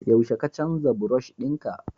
yaushe ka canza brush dinka?